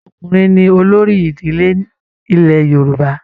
Ọkùnrin ní olórí ìdílé nilẹ̀ Yorùbá.